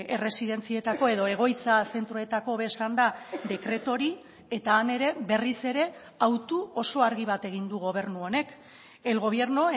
erresidentzietako edo egoitza zentroetako hobe esanda dekretu hori eta han ere berriz ere autu oso argi bat egin du gobernu honek el gobierno